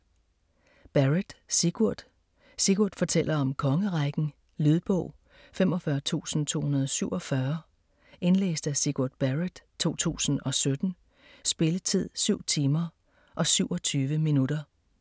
Barrett, Sigurd: Sigurd fortæller om kongerækken Lydbog 45247 Indlæst af Sigurd Barrett, 2017. Spilletid: 7 timer, 27 minutter.